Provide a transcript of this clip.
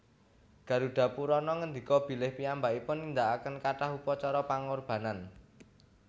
Garudapurana ngendika bilih piyambakipun nindakaken kathah upacara pangorbanan